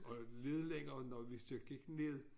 Og nede længere når vi så gik ned